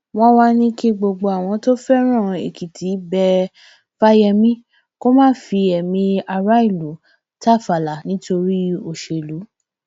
wọn wàá ní kí gbogbo àwọn tó fẹràn èkìtì bẹ fáyemí kó má fi ẹmí aráàlú tàfàlà nítorí òṣèlú